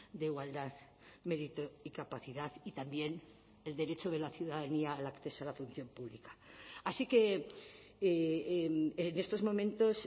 de igualdad mérito y capacidad y también el derecho de la ciudadanía al acceso a la función pública así que en estos momentos